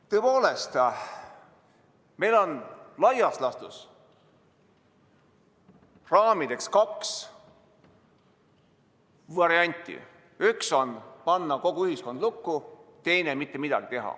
Tõepoolest, meil on laias laastus raamideks kaks varianti: üks on panna kogu ühiskond lukku, teine on teha mitte midagi.